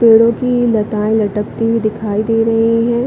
पेड़ो की लताएं लटकती हुई दिखाई दे रही है।